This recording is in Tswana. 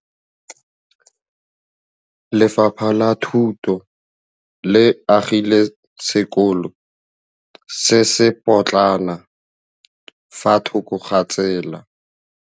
Lefapha la Thuto le agile sekôlô se se pôtlana fa thoko ga tsela.